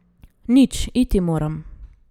Nič, iti moram.